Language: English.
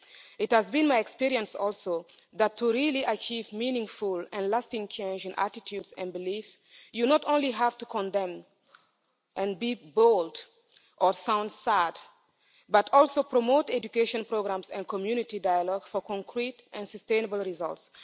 It has also been my experience that to really achieve meaningful and lasting change in attitudes and beliefs, you not only have to condemn and be bold or sound sad, but also promote education programmes and community dialogue for concrete and sustainable results.